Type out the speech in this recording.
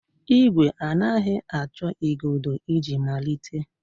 Ìgwè anaghị achọ igodo iji malite.